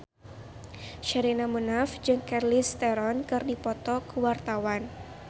Sherina Munaf jeung Charlize Theron keur dipoto ku wartawan